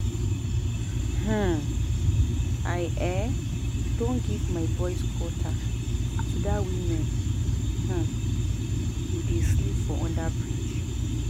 um I um don give my boys quarter to dat women um we dey sleep for under-bridge.